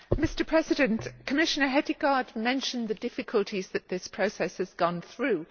Madam President, Commissioner Hedegaard mentioned the difficulties which this process has gone through.